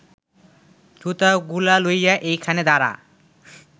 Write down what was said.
জুতাগুলা লইয়া এইখানে দাঁড়া